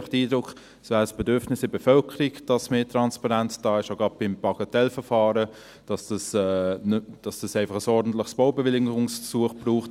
Ich habe einfach den Eindruck, es wäre ein Bedürfnis der Bevölkerung, dass mehr Transparenz da ist – gerade auch beim Bagatellverfahren –, dass es einfach ein ordentliches Baubewilligungsverfahren braucht.